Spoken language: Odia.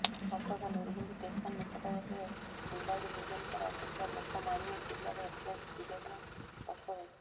କଟକ ନିର୍ଗୁଣ୍ଡି ଷ୍ଟେସନ ନିକଟରେ ମୁମ୍ବାଇରୁ ଭୁବନେଶ୍ୱର ଆସୁଥିବା ଲୋକମାଣ୍ୟ ତିଲକ ଏକ୍ସପ୍ରେସ୍ ଦୁର୍ଘଟଣାଗ୍ରସ୍ତ ହୋଇଛି